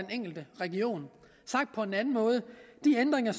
enkelte region sagt på en anden måde de ændringer